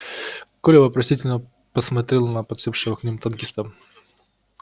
коля вопросительно посмотрел на подсевшего к ним танкиста